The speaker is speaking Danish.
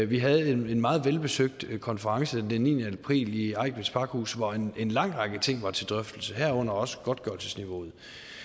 vi havde en meget velbesøgt konference den niende april i eigtveds pakhus hvor en en lang række ting var til drøftelse herunder også godtgørelsesniveauet